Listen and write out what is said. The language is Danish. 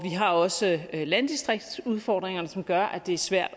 har også landdistriktsudfordringerne som gør at det er svært